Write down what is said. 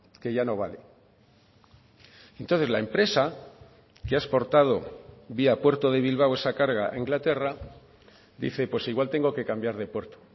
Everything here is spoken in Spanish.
que ya no vale entonces la empresa que ha exportado vía puerto de bilbao esa carga a inglaterra dice pues igual tengo que cambiar de puerto